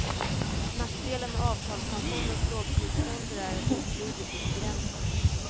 Nackdelen med avtalspensionens lågprisfonder är att utbudet är begränsat.